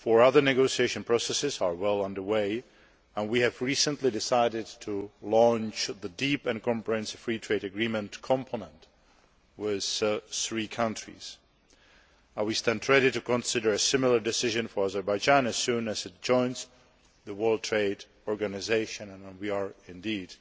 Four other negotiation processes are well under way, and we have recently decided to launch the deep and comprehensive free trade agreement component with three countries. We stand ready to consider taking a similar decision on Azerbaijan as soon as it joins the World Trade Organisation, and we are indeed